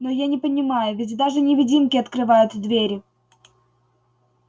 но я не понимаю ведь даже невидимки открывают двери